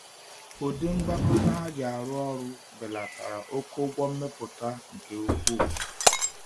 Ụdị ngwakọta ha ji arụ ọrụ belatara oke ụgwọ mmepụta nke ukwuu.